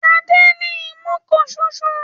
Adé ní imú kan ṣoṣo.